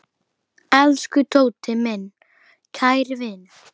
Elsku Tóti, minn kæri vinur.